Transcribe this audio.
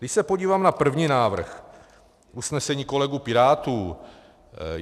Když se podívám na první návrh - usnesení kolegů pirátů.